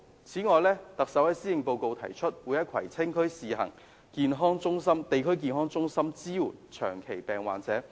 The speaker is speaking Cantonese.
此外，特首在施政報告提議，在葵青區試行地區康健中心支援長期病患者。